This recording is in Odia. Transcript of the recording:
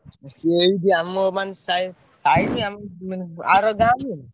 ସିଏ ଏଇଠି ଆମର ମାନେ ସାଇ ସାଇ ନୁହଁ ଆର ଗାଁ ନୁହେଁ।